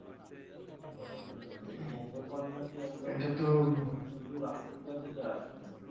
উম এই পঙ্গপাল নাকি একবার মানে সুদূর Africe থেকে আসছে নাকি?